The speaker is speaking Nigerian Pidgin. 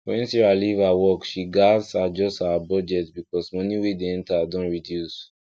when sarah leave her work she gatz adjust her budget because moni wey dey enter don reduce